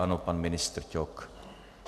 Ano, pan ministr Ťok.